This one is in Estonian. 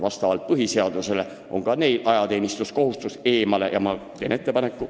Vastavalt põhiseadusele on neil ajateenistuses käimise kohustus ja ma teen ettepaneku luua see infosüsteem.